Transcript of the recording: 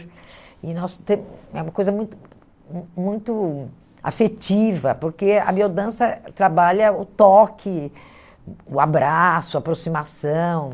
e nós É uma coisa muito mu muito afetiva, porque a biodança trabalha o toque, o o abraço, a aproximação.